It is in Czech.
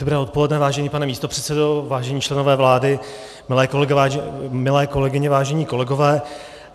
Dobré odpoledne, vážený pane místopředsedo, vážení členové vlády, milé kolegyně, vážení kolegové.